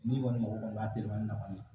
N'i kɔni mago kɔni b'a teliman na kɔni